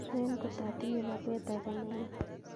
Swen ikot atinye baruet age nelelach